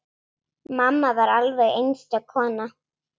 Mamma var alveg einstök kona.